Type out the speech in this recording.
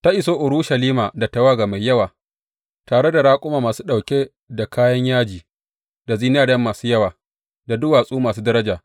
Ta iso Urushalima da tawaga mai yawa, tare da raƙuma masu ɗauke da kayan yaji, da zinariya masu yawa, da duwatsu masu daraja.